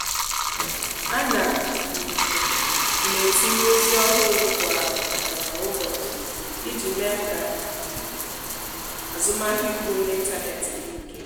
a na um m etinye ozi ọhụrụ kwa um ụbọchị iji mee ka azụmahịa ugbo m n'ịntanetị dị ike.